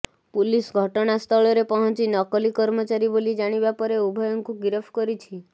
police ଘଟଣା ସ୍ଥଳରେ ପହଞ୍ଚି ନକଲି କର୍ମଚାରୀ ବୋଲି ଜାଣିବା ପରେ ଉଭୟଙ୍କୁ ଗିରଫ କରିଛି